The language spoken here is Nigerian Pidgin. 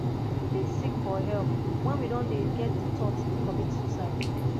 we fit seek for help when we don dey get di thought to commit suicide